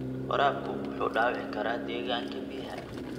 Waraabku wuxuu dhaawici karaa deegaanka biyaha.